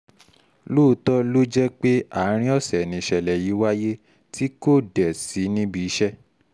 lóòótọ́ ló jẹ́ pé àárín ọ̀sẹ̀ nìṣẹ̀lẹ̀ yìí wáyé tí kò dé sí níbi iṣẹ́